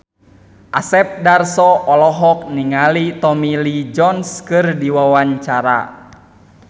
Asep Darso olohok ningali Tommy Lee Jones keur diwawancara